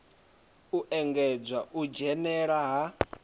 u engedza u dzhenela ha